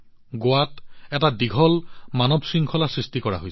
গোৱাত এটা দীঘল মানৱ শৃংখলা নিৰ্মাণ কৰা হৈছিল